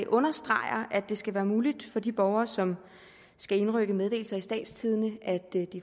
understreger at det skal være muligt for de borgere som skal indrykke meddelelser i statstidende